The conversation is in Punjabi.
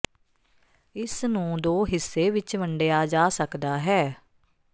ਇਸ ਨੂੰ ਦੋ ਹਿੱਸੇ ਵਿੱਚ ਵੰਡਿਆ ਜਾ ਸਕਦਾ ਹੈ